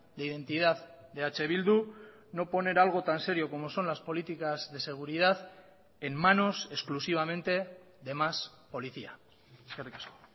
de identidad de eh bildu no poner algo tan serio como son las políticas de seguridad en manos exclusivamente de más policía eskerrik asko